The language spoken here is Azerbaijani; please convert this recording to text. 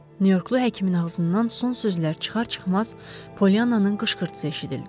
Nyu-Yorklu həkimin ağzından son sözlər çıxar-çıxmaz Pollyananın qışqırtısı eşidildi.